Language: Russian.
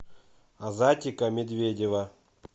азатика медведева